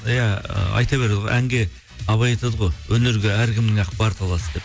иә ы айта береді ғой әнге абай айтады ғой өнерге әркімнің ақ бар таласы деп